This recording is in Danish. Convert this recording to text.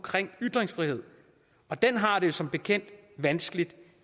ytringsfrihed og den har det som bekendt vanskeligt